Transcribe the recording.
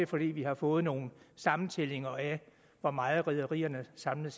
fordi vi har fået nogle sammentællinger af hvor meget rederierne samlet